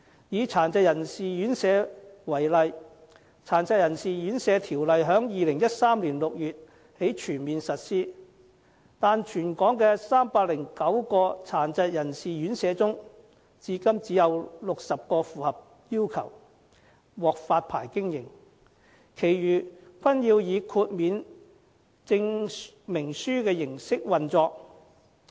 以殘疾人士院舍為例，《殘疾人士院舍條例》在2013年6月起全面實施，但全港309間殘疾人士院舍中，至今只有60間符合要求，獲發牌經營，其餘均要以豁免證明書的形式運作。